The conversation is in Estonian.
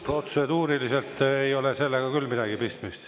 Protseduuriliselt ei ole sellega küll midagi pistmist.